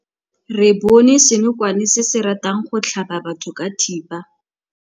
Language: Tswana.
Re bone senokwane se se ratang go tlhaba batho ka thipa.